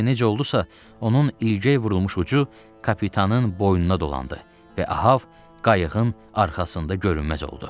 Lakin necə oldusa, onun ilgək vurulmuş ucu kapitanın boynuna dolandı və Ahab qayığın arxasında görünməz oldu.